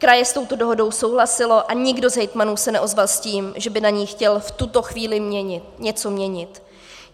Kraje s touto dohodou souhlasily a nikdo z hejtmanů se neozval s tím, že by na ní chtěl v tuto chvíli něco měnit.